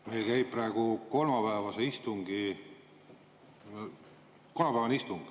Meil käib praegu kolmapäevane istung.